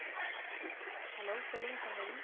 Hello சொல்லுங்க சங்கவி